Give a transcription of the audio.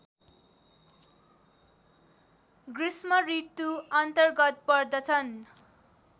गृष्मऋतु अन्तर्गत पर्दछन्